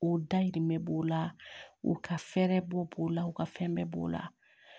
O dayirimɛ b'o la o ka fɛɛrɛ bɔ b'o la u ka fɛn bɛɛ b'o la